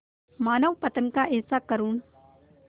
मानवपतन का ऐसा करुण